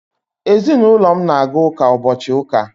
ezinulo m na-aga uka ubochi uka